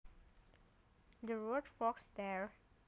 The road forks there